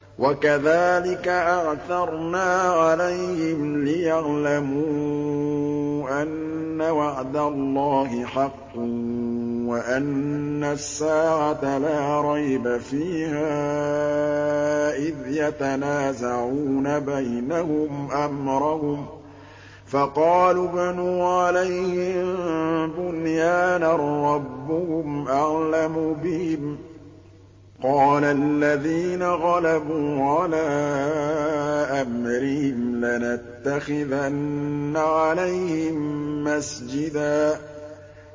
وَكَذَٰلِكَ أَعْثَرْنَا عَلَيْهِمْ لِيَعْلَمُوا أَنَّ وَعْدَ اللَّهِ حَقٌّ وَأَنَّ السَّاعَةَ لَا رَيْبَ فِيهَا إِذْ يَتَنَازَعُونَ بَيْنَهُمْ أَمْرَهُمْ ۖ فَقَالُوا ابْنُوا عَلَيْهِم بُنْيَانًا ۖ رَّبُّهُمْ أَعْلَمُ بِهِمْ ۚ قَالَ الَّذِينَ غَلَبُوا عَلَىٰ أَمْرِهِمْ لَنَتَّخِذَنَّ عَلَيْهِم مَّسْجِدًا